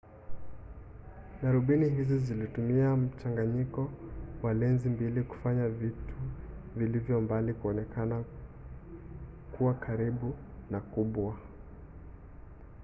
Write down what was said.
darubini hizi zilitumia mchanganyiko wa lenzi mbili kufanya vitu vilivyo mbali kuonekana kuwakaribu na kubwa